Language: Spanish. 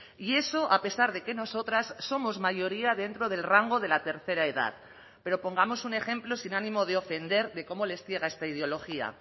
y eso a pesar de que nosotras somos mayoría dentro del rango de la tercera edad pero pongamos un ejemplo sin ánimo de ofender de cómo les ciega esta ideología